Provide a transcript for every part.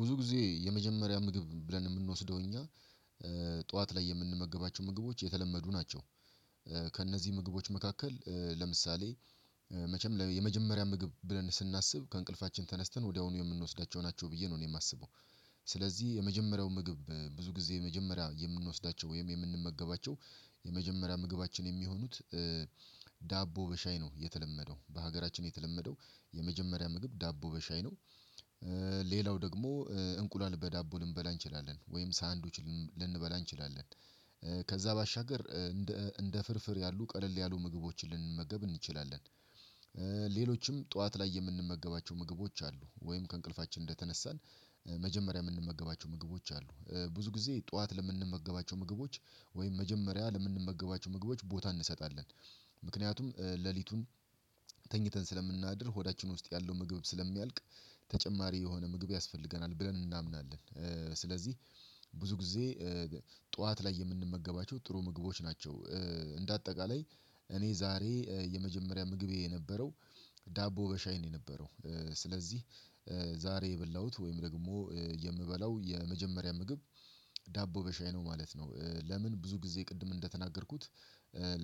ብዙ ጊዜ የመጀመሪያ ምግብ ብለን ምንወስደው እኛ ጠዋት ላይ የምንመግባቸው ምግቦች የተለመዱ ናቸው። ከእነዚህ ምግቦች መካከል ለምሳሌ መቼም የመጀመሪያ ምግብ ብለን ስናስብ ከእንቅልፋችን ተነስተን ወዲያውኑ የምንወስዳቸው ናቸው ብዬ ነው እኔ ማስበው። ስለዚህ የመጀመሪያው ምግብ ብዙ ጊዜ የመጀመሪያ የምንወስዳቸው ወይም የምንመገባቸው የመጀመሪያ ምግባችን የሚሆኑት ዳቦ በሻይ ነው የተለመደው በሀገራችን የተለመደው የመጀመሪያ ምግብ ዳቦ በሻይ ነው። ሌላው ደግሞ እንቁላል በዳቦ ልንበላ እንችላለን ወይም ሳንዱች ልንበላ እንችላለን። ከዛ ባሻገር እንደ እንደ ፍርፍር ያሉ ቀለል ያሉ ምግቦችን ልንመገብ እንችላለን። ሌሎችም ጠዋት ላይ የምንመገባቸው ምግቦች አሉ ወይም ከእንቅልፋችን እንደተነሳን መጀመሪያ ምንመገባቸው ምግቦች አሉ ብዙ ጊዜ ጠዋት ለምንመገባቸው ምግቦች ወይም መጀመሪያ ለምንመገባቸው ምግቦች ቦታ እንሰጣለን። ምክንያቱም ሌሊቱን ተኝተን ስለምናድር ሆዳችን ውስጥ ያለው ምግብ ስለሚያልቅ። ተጨማሪ የሆነ ምግብ ያስፈልገናል ብለን እናምናለን ስለዚህ። ብዙ ጊዜ ጠዋት ላይ የምንመገባቸው ጥሩ ምግቦች ናቸው። እንደ አጠቃላይ እኔ ዛሬ የመጀመሪያ ምግቤ የነበረው ዳቦ በሻይ ነው የነበረው ስለዚህ። ዛሬ የበላሁት ወይም ደግሞ የምበላው የመጀመሪያ ምግብ ዳቦ በሻይ ነው ማለት ነው። ለምን ብዙ ጊዜ ቅድም እንደተናገርኩት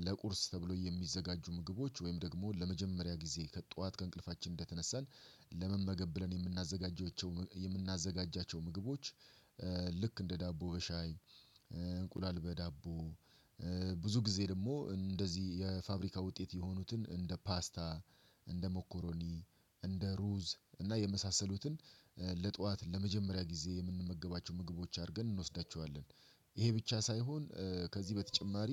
ለቁርስ ተብሎ የሚዘጋጁ ምግቦች ወይም ደግሞ ለመጀመሪያ ጊዜ ከጧት ከእንቅልፋችን እንደተነሳን ለመመገብ ብለን የምናዘጋጃቸው የምናዘጋጃቸው ምግቦች። እንደ ዳቦ በሻይ እንቁላል በዳቦ ብዙ ጊዜ ደግሞ እንደዚህ የፋብሪካ ውጤት የሆኑትን እንደ ፓስታ እንደ ሞኮሮኒ እንደ ሩዝ እና የመሳሰሉትን ለጠዋት ለመጀመሪያ ጊዜ የምንመገባቸው ምግቦች አድርገን እንወስዳቸዋለን። ይሄ ብቻ ሳይሆን ከዚህ በተጨማሪ